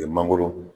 U ye mangoro